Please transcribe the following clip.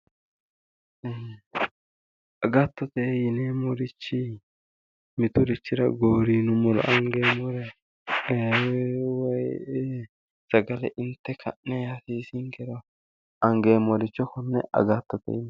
Agattote yineemmorichi miturichira gooriinummoro angeemmoreeti woyi sagale inte ka'ne gooriissinkero angeemmoricho konne agattote yineemmo